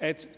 at